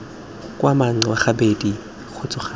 kgwa manxa gabedi kgotsa gararo